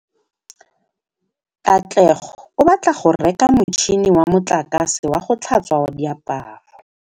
Katlego o batla go reka motšhine wa motlakase wa go tlhatswa diaparo.